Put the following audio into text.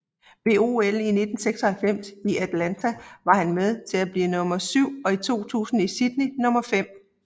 Ved OL 1996 i Atlanta var han med til at blive nummer syv og i 2000 i Sydney nummer fem